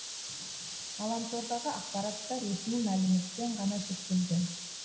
ғаламтордағы ақпарат та ресми мәліметпен ғана шектелген